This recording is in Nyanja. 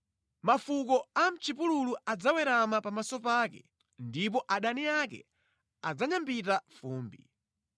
Mafuko a mʼchipululu adzawerama pamaso pake ndipo adani ake adzanyambita fumbi.